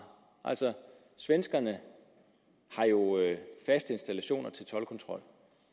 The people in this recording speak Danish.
svenskerne har jo faste installationer til toldkontrol